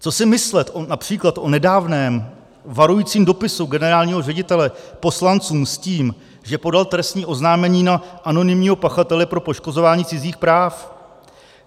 Co si myslet například o nedávném varujícím dopisu generálního ředitele poslancům s tím, že podal trestní oznámení na anonymního pachatele pro poškozování cizích práv?